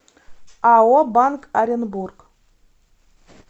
ао банк оренбург